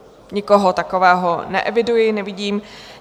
Nikoho takového neeviduji, nevidím.